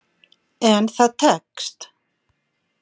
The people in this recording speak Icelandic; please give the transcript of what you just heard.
En það tekst.